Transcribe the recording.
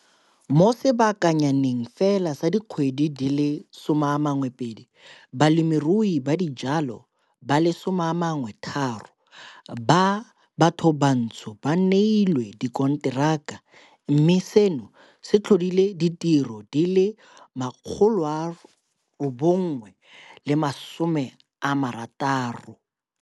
Mo sebakanyaneng fela sa dikgwedi di le 12, balemirui ba dijalo ba le 13 ba bathobantsho ba neilwe dikonteraka mme seno se tlhodile ditiro di le 960.